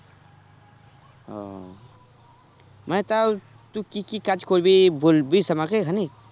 ও মানে তাও তুই কি কি কাজ করবি বলবিস আমাকে খানিক?